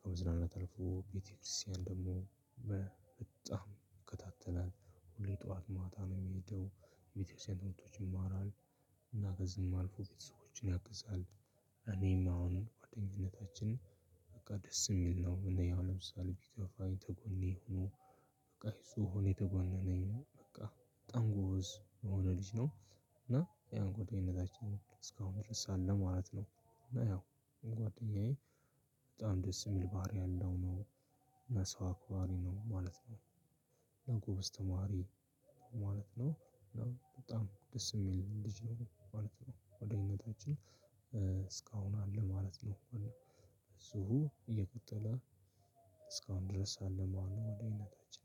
ከመዝናናት አልፎ ቤተክርስቲያን ደግሞ ይከታተላል ሁሌ ጠዋት፣ ማታ ነው የሚሄደው የቤተክርስቲያኖች ይማራል እና በዚህም አልፎ ቤተሰቦችን ያግዛል እኔም አሁን ጓደኝነታችን በቃ ደስ የሚል ነው እኔ ያው ለምሳሌ ቢከፋኝ ከጎኔ ሆኖ በቃ እሱ ሆኖ እኔ ከጎን ነኝ በቃ በጣም ጎበዝ የሆነ ልጅ ነው። እና ያን ጓደኝነታችን እስካሁን ድረስ አለ ማለት ነው እና ያው ጓደኛዬ በጣም ደስ የሚል ባህሪ ያለው ነው። እና ሰው አክባሪ ነው ማለት ነው። በጣም ጎበዝ ተማሪ ማለት ነው። በጣም ደስ የሚል ልጅ ነው ማለት ነው፤ ጓደኝነታችን እስካሁን አለ ማለት ነው። እንኳን ነው ብዙ እየቀጠለ እስካሁን ድረስ አለ መሆኑ ወደ አይነታችን